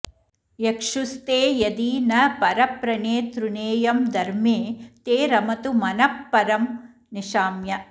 यक्षुस्ते यदि न परप्रणेतृनेयं धर्मे ते रमतु मनः परं निशाम्य